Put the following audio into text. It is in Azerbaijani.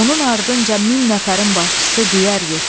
Onun ardınca min nəfərin başçısı Düyər getdi.